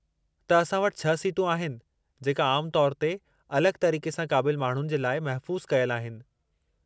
त असां वटि छह सीटूं आहिनि जेका आम तौरु ते अलगि॒ तरीक़े सां क़ाबिलु माण्हुनि जे लाइ महफ़ूज़ु कयलु आहिनि।